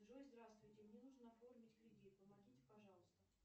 джой здравствуйте мне нужно оформить кредит помогите пожалуйста